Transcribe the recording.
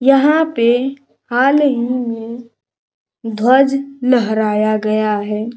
यहां पे हाल ही में ध्वज लहराया गया है।